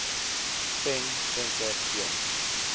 pen venter l